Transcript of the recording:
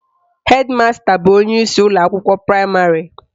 Hedi masta bụ onyeisi ụlọakwụkwọ praịmarị